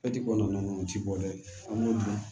kɔnɔna na ninnu ti bɔ dɛ an b'o dun